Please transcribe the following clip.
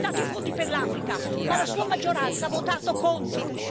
Ha citato i fondi per l'Africa, ma la sua maggioranza ha votato contro!